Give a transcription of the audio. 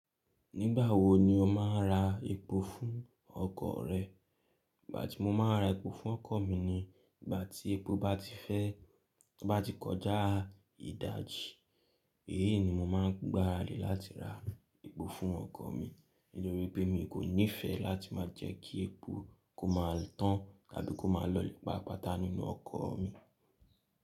Nígbà wo ni o máa ń ra epo fún ọkọ̀ rẹ? Ìgbà tí mo máa ń ra epo fún ọkọ̀ mi ni ìgbà tí epo bá ti fẹ́, bá ti kọjá ìdájí. Èyí ni mo máa ń gbára lé láti ra epo fún ọkọ̀ mi nítorí pé mi kò nífẹ̀ẹ́ láti máa jẹ́ kí epo kó máa tán tàbí kó máa lọ́lẹ̀ pápa ta nínú ọkọ̀ mi.